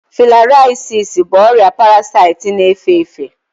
Filariasis bụ ọrịa parasaịtị na-efe efe